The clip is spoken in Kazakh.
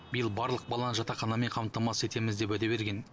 биыл барлық баланы жатақханамен қамтамасыз етеміз деп уәде берген